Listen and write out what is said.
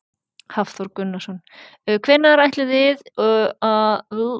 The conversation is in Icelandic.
Hafþór Gunnarsson: Hvenær áætlið þið að þið verðið búnir að komast yfir í eyju?